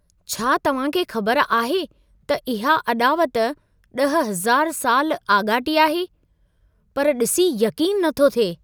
छा तव्हां खे ख़बर आहे त इहा अॾावत 10000 साल आॻाटी आहे? पर ॾिसी यक़ीन नथो थिए।